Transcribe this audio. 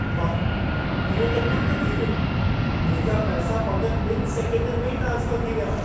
वाह। इहो त तुर्तु थी वियो। मुंहिंजा पैसा फ़क़्त ॿिनि सेकंडनि में ई ट्रांस्फर थी विया।